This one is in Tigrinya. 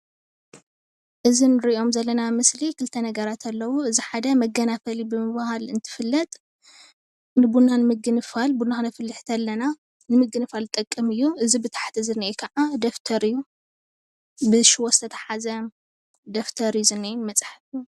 እዚ ንሪኦም ዘለና ምስሊ ክልተ ነገራት ኣለዉ እዚ ሓደ መገናፈሊ ብምብሃል እንትፍለጥ ንቡና ንምግንፋል ቡና ክነፍልሕ ከለና ንምግንፋል ዝጠቅም እዩ እዚ ብታሕቲ ዝኒሀ ኸዓ ደፍተር እዩ ብሽቦ ዝተትሓዘ ደፍተር እዩ ዝኒአ መፅሓፍ